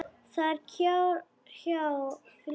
Það er hjá fljóti.